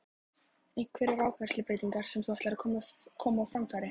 Einhverjar áherslubreytingar sem þú ætlar að koma á framfæri?